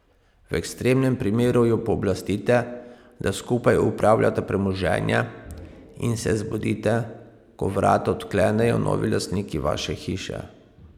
V ekstremnem primeru jo pooblastite, da skupaj upravljata premoženje, in se zbudite, ko vrata odklenejo novi lastniki vaše hiše.